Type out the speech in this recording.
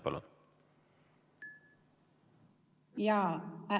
Palun!